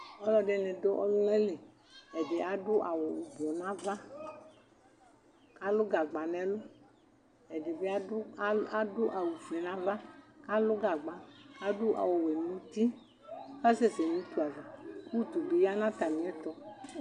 Alu ɛdini dʋ ɔlʋnaliƐdi adʋ awu vɛ nava, alʋ gagba nɛlʋ Ɛdibi adʋ awu fue nava kalʋ gagba Adʋ awu Wɛ nuti kasɛsɛ nʋ utu avaUtu bi ya natamiɛtu